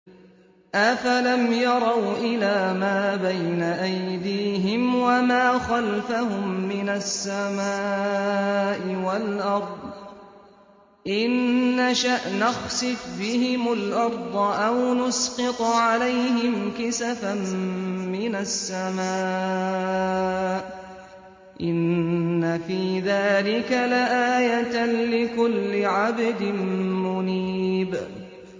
أَفَلَمْ يَرَوْا إِلَىٰ مَا بَيْنَ أَيْدِيهِمْ وَمَا خَلْفَهُم مِّنَ السَّمَاءِ وَالْأَرْضِ ۚ إِن نَّشَأْ نَخْسِفْ بِهِمُ الْأَرْضَ أَوْ نُسْقِطْ عَلَيْهِمْ كِسَفًا مِّنَ السَّمَاءِ ۚ إِنَّ فِي ذَٰلِكَ لَآيَةً لِّكُلِّ عَبْدٍ مُّنِيبٍ